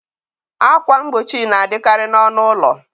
akwa mgbochi na adịkarị n'ọnụ ụlọ.